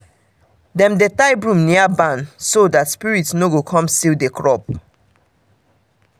dem dey tie broom near barn so that spirit no go come steal the crop.